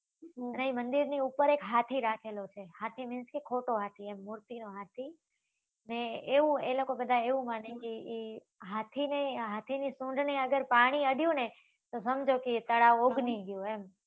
ને અહી મંદિર ની ઉપર એક હાથી રાખેલો છે હાથી means કે ખોટો હાથી એમ મૂર્તિ નો હાથી ને એવું એ લોકો બધા એવું માને કે એ હાથી ની હાથી ની સુંઢ ને અગર પાણી અડ્યું તો સમજો કે એ તળાવ ઉભરી ગયું એમ